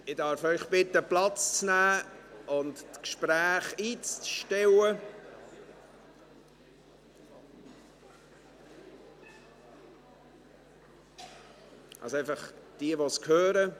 Ich darf Sie bitten, Platz zu nehmen und die Gespräche einzustellen – diejenigen, die es hören.